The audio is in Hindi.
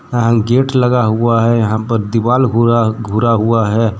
यहाँ गेट लगा हुआ है यहाँ पर दीवाल हुरा घुरा हुआ है।